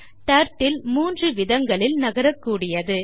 turtle மூன்று விதங்களில் நகரக்கூடியது